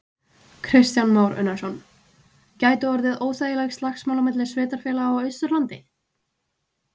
Kristján Már Unnarsson: Gætu orðið óþægileg slagsmál milli sveitarfélaga á Austurlandi?